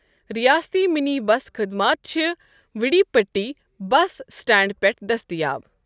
ریاستی mini bus خٔدمات چھِ وڈی پٹی بس سٹینڈٕ پٮ۪ٹھٕ دٔستیاب۔